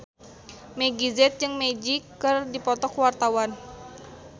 Meggie Z jeung Magic keur dipoto ku wartawan